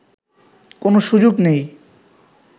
কোনো সুযোগ নেই